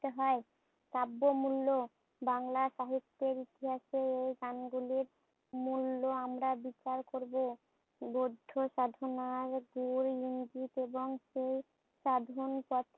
রতে হয়। কাব্য মুল্য, বাংলা সাহিত্যের ইতিহাসে এই নাম গুলির মুল্য আমরা বিচার করবো। বৌদ্ধ সাধনার